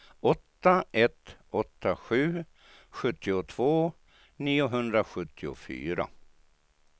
åtta ett åtta sju sjuttiotvå niohundrasjuttiofyra